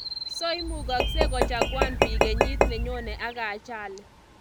So imukagsei kochaguan piik krnyit nenyone ak ajali